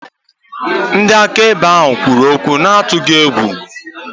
Ndị akaebe ahụ kwuru okwu n'atụghị egwu.